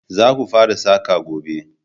Za ku fara saƙa gobe!